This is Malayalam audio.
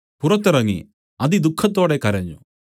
പുറത്തിറങ്ങി അതിദുഃഖത്തോടെ കരഞ്ഞു